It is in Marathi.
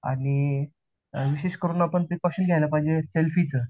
आणि विशेष करून आपण प्रीकौशन घ्यायला पाहिजे सेल्फी च